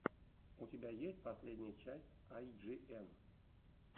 у тебя есть последняя часть ай джи эн